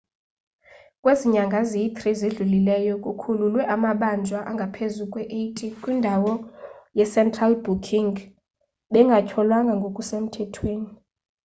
kwezi nyanga ziyi-3 zidlulileyo kukhululwe amabanjwa angaphezu kwe-80 kwindawo ye-central booking bengatyholwanga ngokusemthethweni